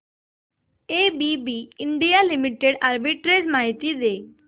ABB India limited arbitrage माहिती दे